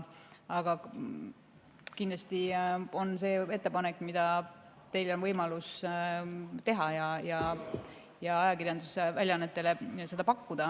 Aga kindlasti on teil endal võimalik see ettepanek ajakirjandusväljaannetele teha.